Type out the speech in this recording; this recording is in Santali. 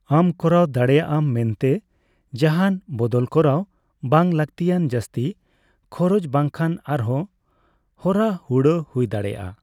ᱟᱢ ᱠᱚᱨᱟᱣ ᱫᱟᱲᱮᱭᱟᱜᱼᱟᱢ ᱢᱮᱱᱛᱮ ᱡᱟᱦᱟᱱ ᱵᱚᱫᱚᱞ ᱠᱚᱨᱟᱣ, ᱵᱟᱝ ᱞᱟᱹᱠᱛᱤᱭᱟᱱ ᱡᱟᱹᱥᱛᱤ ᱠᱷᱚᱨᱚᱪ ᱵᱟᱝᱠᱷᱟᱱ ᱟᱨᱦᱚᱸ ᱦᱚᱨᱟ ᱦᱩᱲᱟᱹᱜ ᱦᱳᱭ ᱫᱟᱲᱮᱭᱟᱜᱼᱟ ᱾